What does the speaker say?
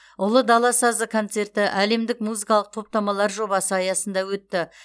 ұлы дала сазы концерті әлемдік музыкалық топтамалар жобасы аясында өтті